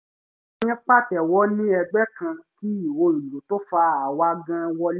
à ń pàtẹ́wọ́ ní ẹgbẹ́ kan kí ìró ìlú tó fà àwa gan wọlé